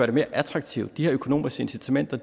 det mere attraktivt de her økonomiske incitamenter